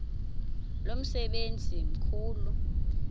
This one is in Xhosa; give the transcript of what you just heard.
lo msebenzi mkhulu